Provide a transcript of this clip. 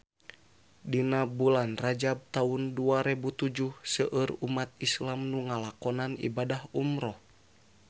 Dina bulan Rajab taun dua rebu tujuh seueur umat islam nu ngalakonan ibadah umrah